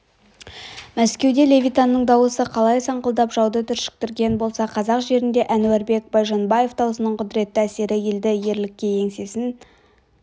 мәскеуде левитанның дауысы қалай саңқылдап жауды түршіктірген болса қазақ жерінде әнуарбек байжанбаев дауысының құдіретті әсері елді ерлікке еңсесін